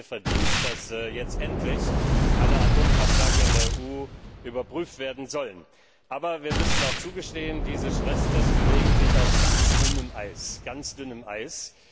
Es ist Ihr Verdienst, dass jetzt endlich alle Atomkraftwerke in der EU überprüft werden sollen. Aber wir müssen auch zugestehen, diese Stresstests bewegen sich auf ganz dünnem Eis.